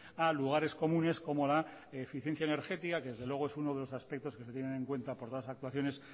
a lugares comunes como la eficiencia energética que desde luego es uno de los aspectos que se tienen en cuenta por las actuaciones